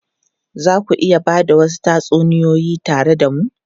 Za ku iya ba da wasu tatsuniyoyi tare da mu?